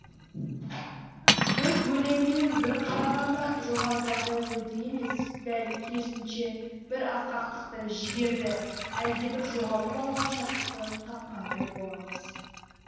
біз өлеңнен бір қарағанда жоғарыдағыдай ойды емес дәл керісінше бір асқақтықты жігерді әлдебір жоғалтып алған шаттықты тапқандай боламыз